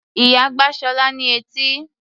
Ìyá gbá Ṣọlá ní etí.